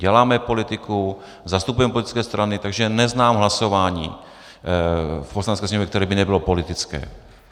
Děláme politiku, zastupujeme politické strany, takže neznám hlasování v Poslanecké sněmovně, které by nebylo politické.